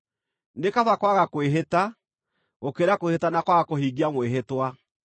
Nĩ kaba kwaga kwĩhĩta, gũkĩra kwĩhĩta na kwaga kũhingia mwĩhĩtwa.